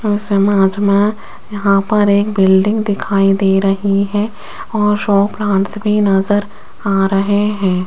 इस इमेज मे यहां पर एक बिल्डिंग दिखाई दे रही है और शो प्लांट्स भी नज़र आ रहे है।